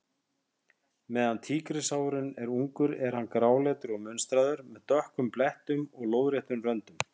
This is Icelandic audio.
Meðan tígrisháfurinn er ungur er hann gráleitur og munstraður, með dökkum blettum og lóðréttum röndum.